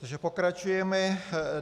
Takže pokračujeme.